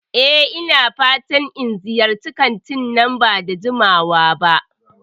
E, ina fatan in ziyarci kantin nan ba da jimawa ba.